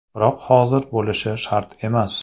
Biroq hozir bo‘lishi shart emas.